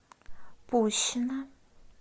пущино